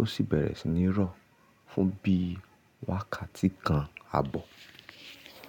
ó sì bẹ̀rẹ̀ sí ní rọ̀ fún bí wákàtí kan àbọ̀.